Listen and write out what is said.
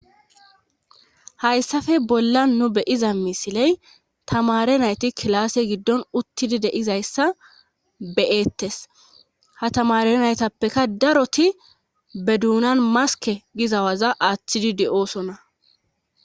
haysafe bollan nu be7iza misiley tamaare nayti kilaase giddon uttidi de7izayssa be7eettes;ha tamaare naytapekka daroti be doonan maskke giza waza aattidi de7oosona.